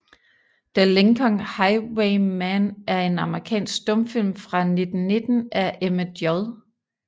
The Lincoln Highwayman er en amerikansk stumfilm fra 1919 af Emmett J